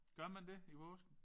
Gør man det? I påske